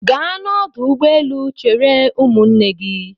Gaa n'ọdụ ụgbọelu chere ụmụnne gị!